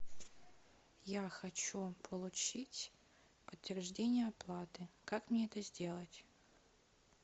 я хочу получить подтверждение оплаты как мне это сделать